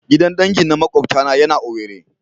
Gidan dangi na makwabtana yana owerri.